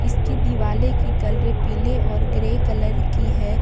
इसकी दिवाले की कलरे पीले और ग्रे कलर की है।